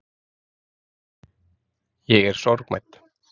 Ég er sorgmædd.